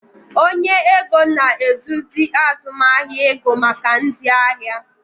Onye ego na-eduzi azụmahịa ego maka ndị ahịa